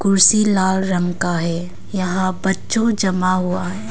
कुर्सी लाल रंग का है यहां बच्चों जमा हुआ है।